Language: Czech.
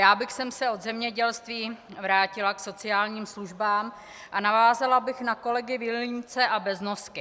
Já bych se od zemědělství vrátila k sociálním službám a navázala bych na kolegy Vilímce a Beznosku.